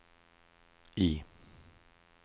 I